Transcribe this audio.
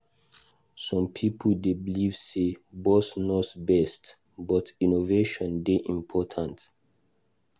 Some pipo dey believe say "boss knows best," but innovation dey important.